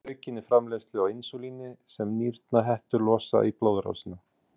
Það veldur aukinni framleiðslu á insúlíni sem nýrnahettur losa í blóðrásina.